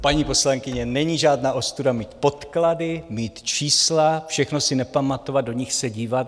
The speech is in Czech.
Paní poslankyně, není žádná ostuda mít podklady, mít čísla, všechno si nepamatovat, do nich se dívat.